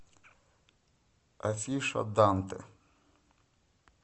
афиша данте